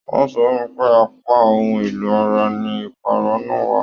Wọn sọ fún pé apá ohùn èlò ara ní ipara náà wà.